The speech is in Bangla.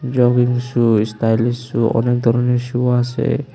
রঙিন শু স্টাইলিশ শু অনেক ধরনের শু আসে।